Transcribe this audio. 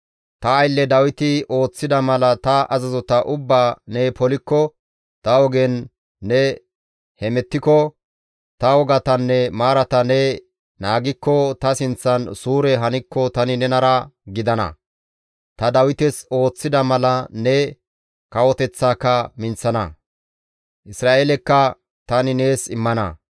Ta aylle Dawiti ooththida mala ta azazota ubbaa ne polikko, ta ogen ne hemettiko, ta wogatanne maarata ne naagikko ta sinththan suure hankko tani nenara gidana; ta Dawites ooththida mala ne kawoteththaaka minththana. Isra7eelekka tani nees immana.